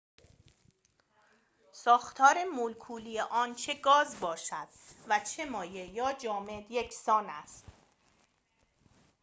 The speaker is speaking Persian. ساختار مولکولی آن چه گاز باشد و چه مایع یا جامد یکسان است